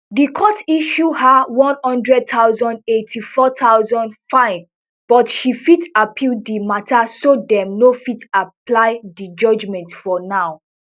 di court issue her one hundred thousand eighty-four thousand fine but she fit appeal di matta so dem no fit apply di judgement for now